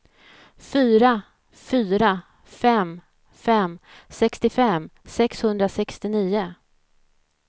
fyra fyra fem fem sextiofem sexhundrasextionio